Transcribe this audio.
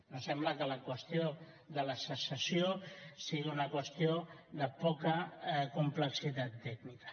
no sembla que la qüestió de la secessió sigui una qüestió de poca complexitat tècnica